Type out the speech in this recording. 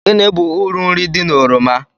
Gịnị bụ uru nri di na oroma